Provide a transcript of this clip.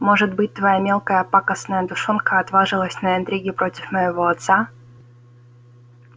может быть твоя мелкая пакостная душонка отважилась на интриги против моего отца